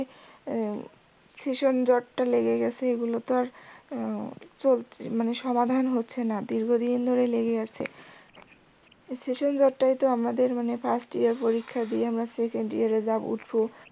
ভীষন জ্বর টা লেগে গেসে এগুলো তো আর চলসে মানে সমাধান হচ্ছে না, দীর্ঘদিন ধরে লেগে আছে। ভীষন জ্বরটায় তো আমাদের মানে first year পরীক্ষা দিয়ে আমরা second year এ উঠবো